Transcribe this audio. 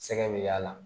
Sɛgɛ bɛ y'a la